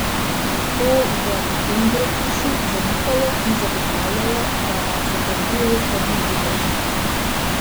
To v Engrotušu zanikajo in zagotavljajo, da zadržujejo tržni delež.